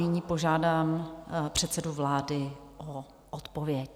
Nyní požádám předsedu vlády o odpověď.